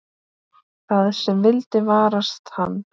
Það sem vildi varast hann.